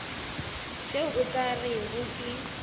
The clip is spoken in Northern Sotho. tšeo o ka rego ke